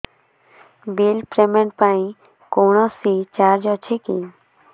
bill payment ପାଇଁ କୌଣସି charge ଅଛି କି